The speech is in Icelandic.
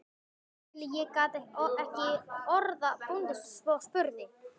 Þar til ég gat ekki orða bundist og spurði